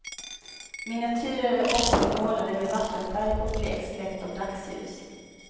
Miniatyrer är oftast målade med vattenfärg och bleks lätt av dagsljus.